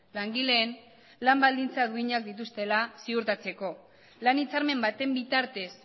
langileen lan baldintza duinak dituztela ziurtatzeko lan hitzarmen baten bitartez